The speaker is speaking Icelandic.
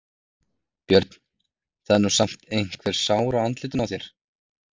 Björn: Það er nú samt einhver sár á andlitinu á þér?